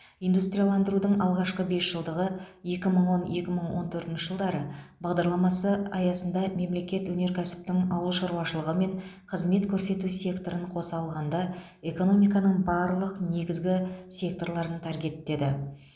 индустрияландырудың алғашқы бес жылдығы екі мың он екі мың он төртінші жылдары бағдарламасы аясында мемлекет өнеркәсіптің ауыл шаруашылығы мен қызмет көрсету секторын қос алғанда экономиканың барлық негізгі секторларын таргеттеді